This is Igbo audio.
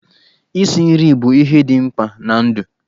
Isi nri bụ ihe dị mkpa na ndụ.